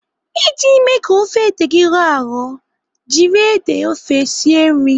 Iji mee ka ofe ede gị rọọ arọ, jiri ede ofe sie nri.